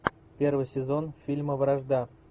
первый сезон фильма вражда